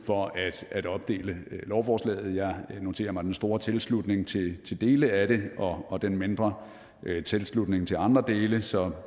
for at opdele lovforslaget jeg noterer mig den store tilslutning til dele af det og den mindre tilslutning til andre dele så